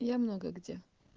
я много где